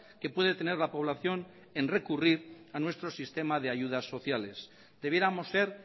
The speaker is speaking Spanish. que puede tener la población en recurrir a nuestro sistema de ayudas sociales debiéramos ser